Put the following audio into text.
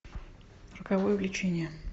роковое влечение